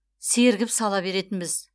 сергіп сала беретінбіз